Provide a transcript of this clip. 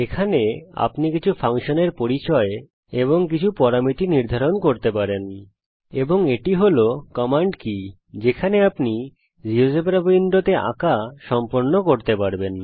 এখানে আপনি কিছু ফাংশনের পরিচয় কিছু পরামিতি নির্ধারিত করতে পারেন এবং এটি হল কমান্ড কি যেখানে আপনি জীয়োজেব্রা উইন্ডোতে আঁকা সম্পন্ন করতে পারবেন